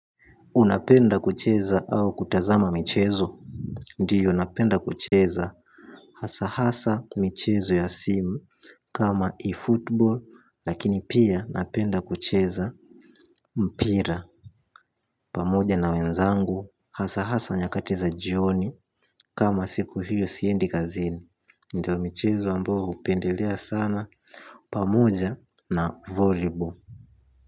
Unapenda kucheza au kutazama michezo. Ndio napenda kucheza. Hasahasa michezo ya simu. Kama eFootball lakini pia napenda kucheza. Mpira pamoja na wenzangu. Hasahasa nyakati za jioni kama siku hiyo siendi kazini. Ndio michezo ambao hupendelea sana. Pamoja na volibo.